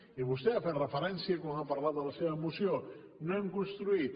i vostè hi ha fet referència quan ha parlat de la seva moció no hem construït